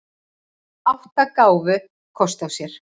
Átta gáfu kost á sér.